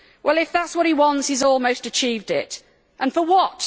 Well, if that is what he wants, he has almost achieved it and for what?